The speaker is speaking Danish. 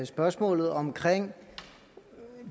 spørgsmålet om